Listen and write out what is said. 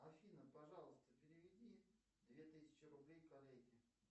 афина пожалуйста переведи две тысячи рублей коллеге